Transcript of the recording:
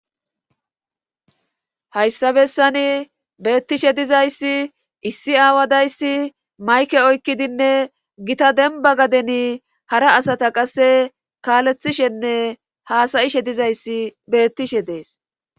hayssabessani beettishe dizayssi issi aawadayssi mayke oykkidinne gita denba gadeni hara asata qasse kaalethishenne haasayishe dizayssi beettishe dees